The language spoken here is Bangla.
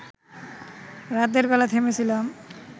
রাতের বেলা থেমেছিলাম